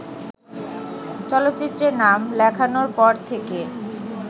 চলচ্চিত্রে নাম লেখানোর পর থেকে